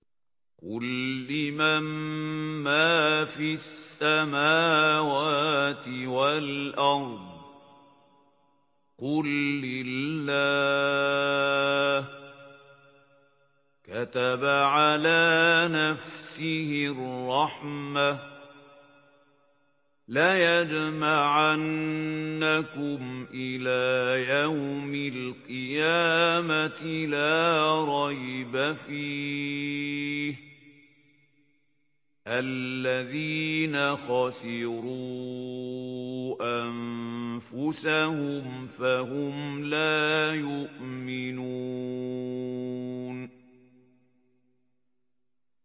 قُل لِّمَن مَّا فِي السَّمَاوَاتِ وَالْأَرْضِ ۖ قُل لِّلَّهِ ۚ كَتَبَ عَلَىٰ نَفْسِهِ الرَّحْمَةَ ۚ لَيَجْمَعَنَّكُمْ إِلَىٰ يَوْمِ الْقِيَامَةِ لَا رَيْبَ فِيهِ ۚ الَّذِينَ خَسِرُوا أَنفُسَهُمْ فَهُمْ لَا يُؤْمِنُونَ